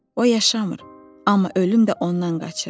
O yaşamır, amma ölüm də ondan qaçır.